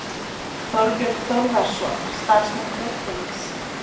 Þorbjörn Þórðarson: Starfsmenn Kaupþings?